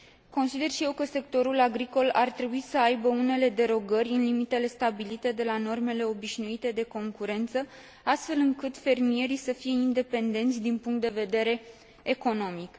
Consider și eu că sectorul agricol ar trebui să aibă unele derogări, în limitele stabilite, de la normele obișnuite de concurență, astfel încât fermierii să fie independenți din punct de vedere economic.